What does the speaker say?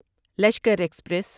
Lashkar express